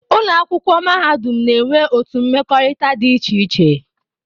Ụlọakwụkwọ mahadum na-enwe otu mmekọrịta dị iche iche